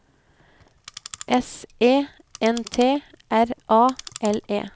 S E N T R A L E